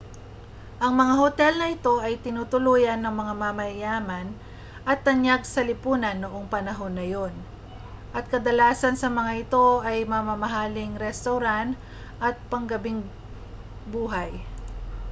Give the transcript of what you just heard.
ang mga hotel na ito ay tinutuluyan ng mga mayayaman at tanyag sa lipunan noong panahong iyon at kadalasan sa mga ito ay may mamahaling restawran at panggabing buhay